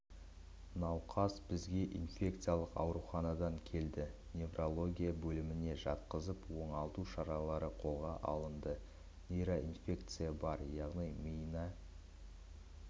науқас бізге инфекциялық ауруханадан келді неврология бөліміне жатқызып оңалту шаралары қолға алынды нейроинфекция бар яғни миына